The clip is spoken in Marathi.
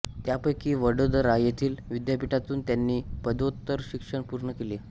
त्यापैकी वडोदरा येथील विद्यापीठातून त्यांनी पदव्युत्तर शिक्षण पूर्ण केले